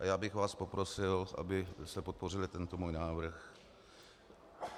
A já bych vás poprosil, abyste podpořili tento můj návrh.